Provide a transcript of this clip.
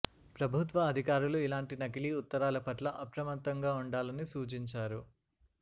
ప్రభుత్వ అధికారులు ఇలాంటి నకిలీ ఉత్తరాల పట్ల అప్రమత్తంగా ఉండాలని సూచించారు